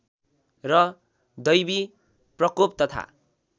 र दैविप्रकोप तथा